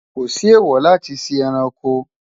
kò sí èwo láti sí ẹranko